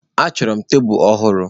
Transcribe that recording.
Achọrọ m tebụl ọhụrụ.